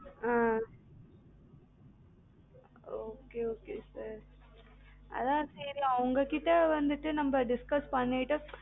ஆஹ் okay okay sir அதான் சரி உங்ககிட்ட வந்துட்டு நம்ம discuss பண்ணீட்டு